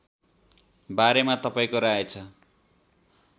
बारेमा तपाईँको राय छ